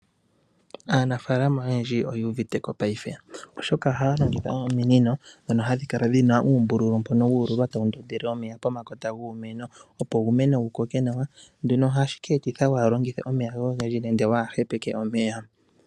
Aanafaalama oyendji oyu uvite ko paife, oshoka ohaya longitha ominino ndhoka hadhi kala dhina uumbululu mbuno wu ululwa tawu ndondele omeya pomakota guumeno, opo uumeno wu koke nawa. Nduno ohashi ka eta opo waa longithe omeya ogendji nenge waa hepeke omeya.